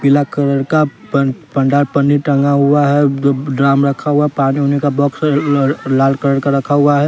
पीला कलर का पंडाल पन्नी टंगा हुआ है ड्राम रखा हुआ पानी ओनी का बॉक्स लाल कलर का रखा हुआ है।